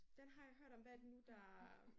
Den har jeg hørt om hvad er det nu der?